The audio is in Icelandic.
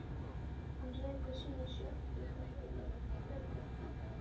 Hann rekur sína sjoppu og það er bara fínt.